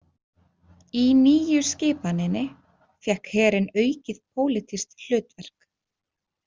Í Nýju skipaninni fékk herinn aukið pólitískt hlutverk.